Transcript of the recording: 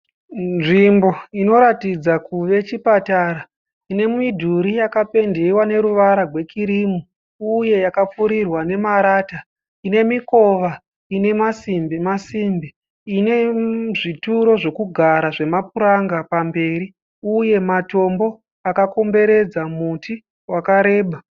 Nzvimbo inoratidza kuve chipatara ine midhuri yakapendewa neruvara rwekurimu Uye yakapfurirwa nemarata. Ine mikova ine masimbi masimbi. Ine zvituro zvokugara zvemapuranga pamberi uye matombo akakomberedza muti wakareba.